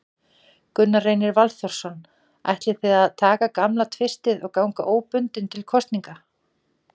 Gunnar Reynir Valþórsson: Ætlið þið að taka gamla tvistið og ganga óbundið til kosninga?